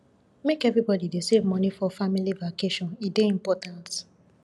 make everybody dey save moni for family vacation e dey important